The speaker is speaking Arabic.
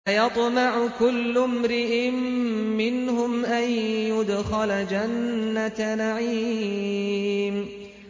أَيَطْمَعُ كُلُّ امْرِئٍ مِّنْهُمْ أَن يُدْخَلَ جَنَّةَ نَعِيمٍ